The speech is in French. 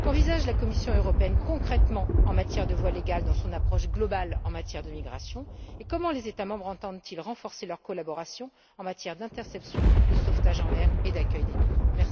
Qu'envisage la Commission européenne, concrètement, en matière de voies légales dans son approche globale sur les matières de migrations et comment les États membres entendent ils renforcer leur collaboration en matière d'interception, de sauvetage en mer et d'accueil des migrants?